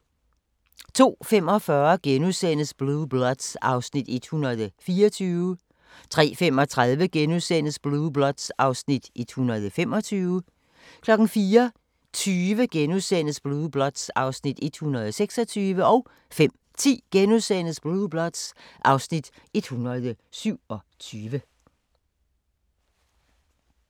02:45: Blue Bloods (Afs. 124)* 03:35: Blue Bloods (Afs. 125)* 04:20: Blue Bloods (Afs. 126)* 05:10: Blue Bloods (Afs. 127)*